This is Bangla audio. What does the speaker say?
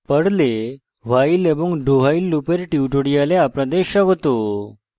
পর্লে while এবং dowhile লুপের tutorial আপনাদের স্বাগত